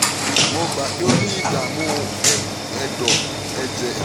mo gbà pé ó ń ní ní ìdààmú ọkàn (ẹ̀jẹ̀ láti inú ẹ̀dọ̀)